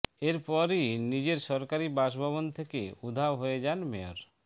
এরপরেই নিজের সরকারি বাসভবন থেকে উধাও হয়ে যান মেয়র